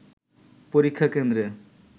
পরীক্ষা কেন্দ্রে